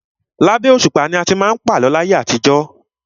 Labẹ́ òṣùpá ni a ti má ń pa àlọ́ láyé àtijọ́.